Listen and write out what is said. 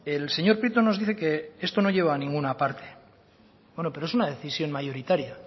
el señor prieto nos dice que esto no lleva a ninguna parte bueno pero es una decisión mayoritaria